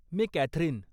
मी Catherine.